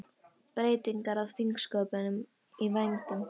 Breytingar á þingsköpum í vændum